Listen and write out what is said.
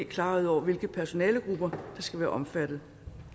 klarhed over hvilke personalegrupper der skal være omfattet